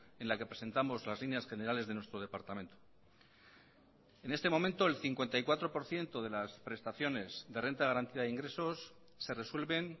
en la que presentamos las líneas generales de nuestro departamento en este momento el cincuenta y cuatro por ciento de las prestaciones de renta de garantía de ingresos se resuelven